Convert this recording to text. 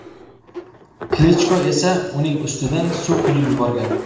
Klichko esa uning ustidan suv quyib yuborgan.